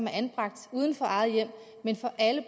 er anbragt uden for eget hjem men for alle